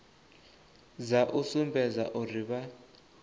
dza u sumbedza uri vha